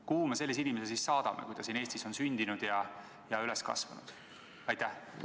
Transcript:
Kuhu me sellise inimese siis saadame, kui ta siin Eestis on sündinud ja üles kasvanud?